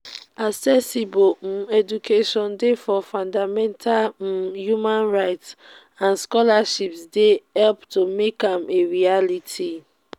accessible um education dey for fundamental um human rights and scholarships dey help to make am a reality.